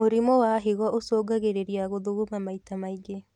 Mũrimũ wa higo ũcũngagĩrĩrĩa gũthuguma maita maingĩ